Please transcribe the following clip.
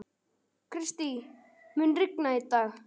Kristý, mun rigna í dag?